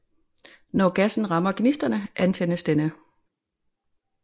Når gassen rammer gnisterne antændes denne